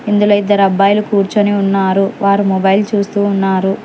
ఇందులో ఇద్దరబ్బాయిలు కూర్చొని ఉన్నారు వారు మొబైల్ చూస్తూ ఉన్నారు.